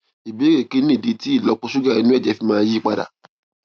ìbéèrè kí nìdí tí ìlópo ṣúgà inú èjè mi fi ń yí padà